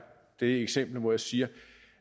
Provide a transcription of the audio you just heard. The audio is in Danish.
det eksempel hvor jeg siger